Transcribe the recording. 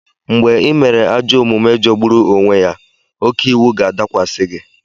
Mgbe ị mere ajọ omume jọgburu onwe ya, oke iwu ga-adakwasị gị.